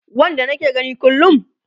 Wanda nake gani kullum